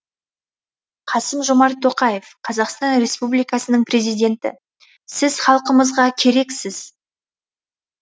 қасым жомарт тоқаев қазақстан республикасының президенті сіз халқымызға керексіз